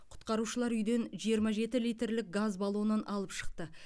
құтқарушылар үйден жиырма жеті литрлік газ баллонын алып шықты